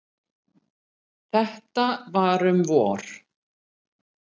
Þetta var um vor.